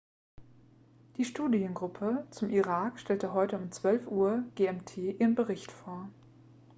die studiengruppe zum irak stellte heute um 12:00 uhr gmt ihren bericht vor